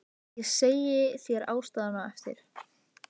Ég segi þér ástæðuna á eftir